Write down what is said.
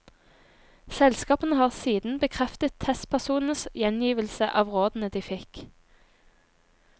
Selskapene har siden bekreftet testpersonenes gjengivelse av rådene de fikk.